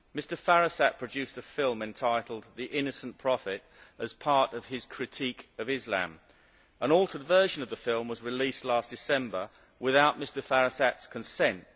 Mr Firasat produced a film entitled The Innocent Prophet', as part of his critique of Islam. An altered version of the film was released last December without Mr Firasat's consent.